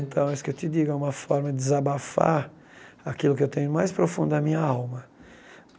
Então, isso que eu te digo, é uma forma de desabafar aquilo que eu tenho mais profundo na minha alma.